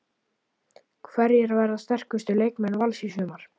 Hverjir verða sterkustu leikmenn Vals í sumar?